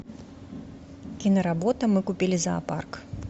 киноработа мы купили зоопарк